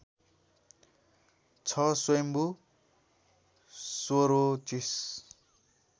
छ स्वायम्भु स्वरोचिष